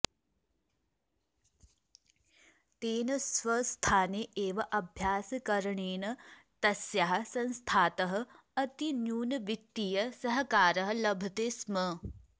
तेन स्वस्थाने एव अभ्यासकरणेन तस्याः संस्थातः अतिन्यूनवित्तीय सहकारः लभते स्म